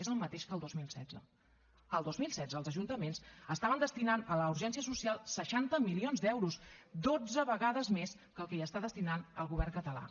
és el mateix que el dos mil setze el dos mil setze els ajuntaments estaven destinant a la urgència social seixanta milions d’euros dotze vegades més que el que hi està destinant el govern català